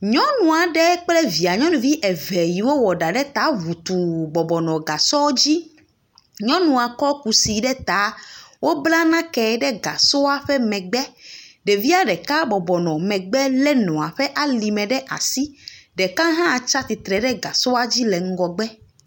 Nyɔnu aɖe kple via nuyɔnuvi eve siwo wɔ ɖa ɖe ta ŋutu bɔbɔnɔ gasɔ dzi. Nyɔnua kɔ kusi ɖe ta. Wobla nake ɖe gasɔa ƒe megbe. Ɖevia ɖeka bɔbɔ nɔ megbe le nɔa ƒe megbe le nɔa ƒe alime ɖe asi. Ɖeka hã tsi atsitre ɖe gasɔa dzi le ŋgɔgbe.